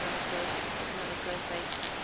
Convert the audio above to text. economic growth rates